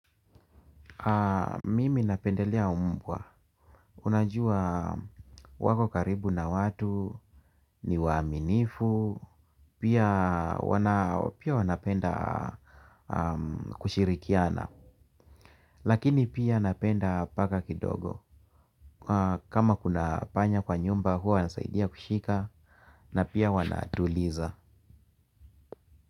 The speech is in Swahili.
Mimi napendelea mbwa, unajua wakokaribu na watu, ni waaminifu, pia wanapenda kushirikiana. Lakini pia napenda paka kidogo, kama kunapanya kwa nyumba huwa wanasaidia kushika na pia wanatuliza.